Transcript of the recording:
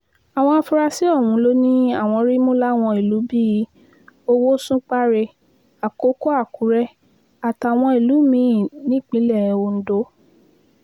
àwọn afurasí ọ̀hún ló ní àwọn rí mú láwọn ìlú bíi owó ṣúpàrẹ àkókò àkùrẹ àtàwọn ìlú mí-ín nípínlẹ̀ ondo